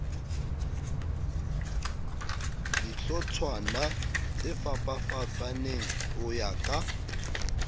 dihlotshwana tsefapafapaneng ho ya ka